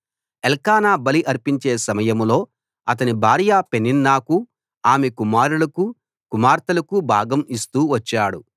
ఎల్కానా బలి అర్పించే సమయంలో అతని భార్య పెనిన్నాకు ఆమె కుమారులకు కుమార్తెలకు భాగం ఇస్తూ వచ్చాడు